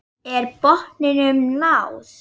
Er botninum náð?